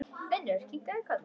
Finnur kinkaði kolli.